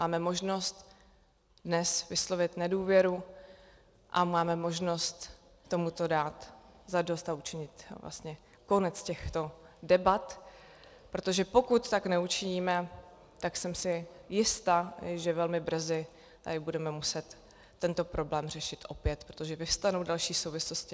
Máme možnost dnes vyslovit nedůvěru a máme možnost tomuto dát zadost a učinit vlastně konec těchto debat, protože pokud tak neučiníme, tak jsem si jista, že velmi brzy tady budeme muset tento problém řešit opět, protože vyvstanou další souvislosti.